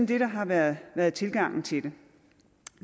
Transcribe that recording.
det der har været været tilgangen til